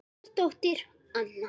Ykkar dóttir, Anna.